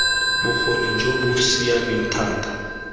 bokgoni jo bo siameng thata